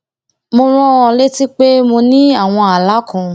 mo rán an létí pé mo ní àwọn ààlà kan